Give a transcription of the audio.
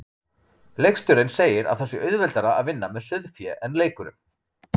Leikstjórinn segir að það sé auðveldara að vinna með sauðfé en leikurum.